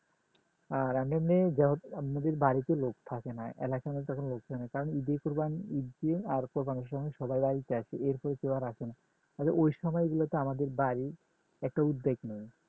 আপনাদের বাড়ি তাই লোক থাকে না এলাকাতে লোক থাকে না কারণ যে পরিমান দিন আর মানুষের এর পর কেও আর আসে না ওই সময় গুলা তে আমাদের বাড়ি একটু উদ্দেক নেই